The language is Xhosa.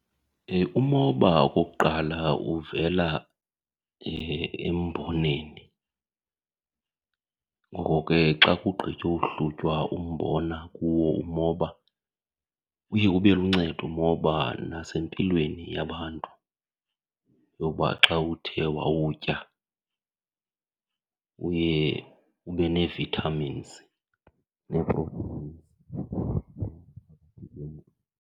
Umoba okokuqala uvela emboneni. Ngoko ke xa kugqityohlutywa umbona kuwo umoba uye ube luncedo umoba nasempilweni yabantu yoba xa uthe wawutya uye ube nee-vitamins nee-proteins .